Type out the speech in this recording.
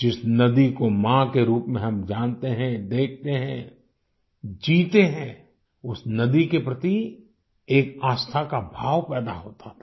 जिस नदी को माँ के रूप में हम जानते हैं देखते हैं जीते हैं उस नदी के प्रति एक आस्था का भाव पैदा होता था